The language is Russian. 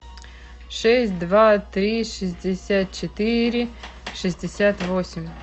шесть два три шестьдесят четыре шестьдесят восемь